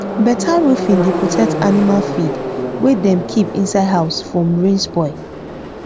better roofing dey protect animal feed wey dem keep inside house from rain spoil